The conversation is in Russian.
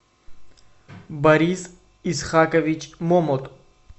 борис исхакович момот